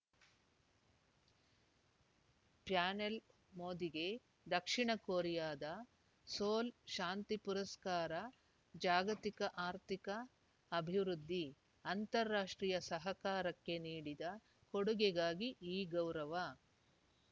panel ಮೋದಿಗೆ ದಕ್ಷಿಣ ಕೊರಿಯಾದ ಸೋಲ್‌ ಶಾಂತಿ ಪುರಸ್ಕಾರ ಜಾಗತಿಕ ಆರ್ಥಿಕ ಅಭಿವೃದ್ಧಿ ಅಂತಾರಾಷ್ಟ್ರೀಯ ಸಹಕಾರಕ್ಕೆ ನೀಡಿದ ಕೊಡುಗೆಗಾಗಿ ಈ ಗೌರವ